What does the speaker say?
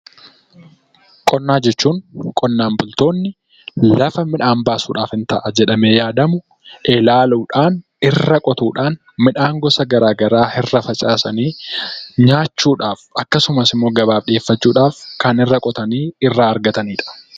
Qonnaa jechuun qonnaan bultoonni lafa midhaan baasuudhaaf in ta'a jedhamee yaadamu qotuudhaan midhaan gosa garaa garaa irra facaasuun irraas nyaataa fi gurgurtaaf kan ta'u argachuu jechuudha.